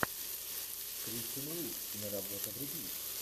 кристен уиг киноработа вруби